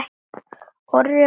Orri og Saga.